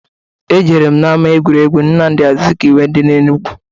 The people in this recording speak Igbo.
Ejere m na-ama egwuregwu Nnamụdị Azụkaiwe dị n'Enugu.